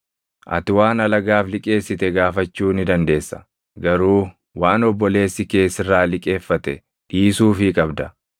Ati waan alagaaf liqeessite gaafachuu ni dandeessa; garuu waan obboleessi kee sirraa liqeeffate dhiisuufii qabda.